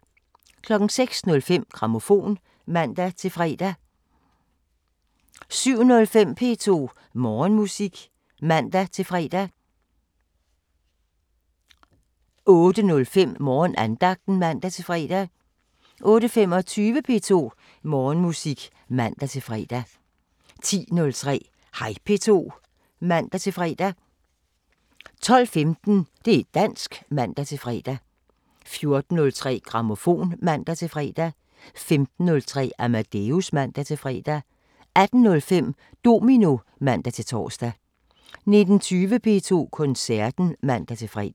06:05: Grammofon (man-fre) 07:05: P2 Morgenmusik (man-fre) 08:05: Morgenandagten (man-fre) 08:25: P2 Morgenmusik (man-fre) 10:03: Hej P2 (man-fre) 12:15: Det´ dansk (man-fre) 14:03: Grammofon (man-fre) 15:03: Amadeus (man-fre) 18:05: Domino (man-tor) 19:20: P2 Koncerten (man-fre)